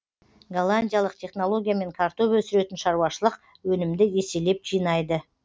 голландиялық технологиямен картоп өсіретін шаруашылық өнімді еселеп жинайды